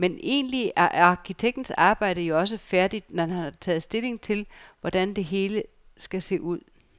Men egentlig er arkitektens arbejde jo også færdigt, når han har taget stilling til, hvordan det hele skal se ud.